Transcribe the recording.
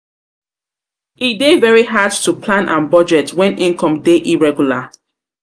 E dey very hard to plan and budget when income dey irregular.